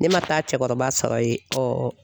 Ne ma taa cɛkɔrɔba sɔrɔ yen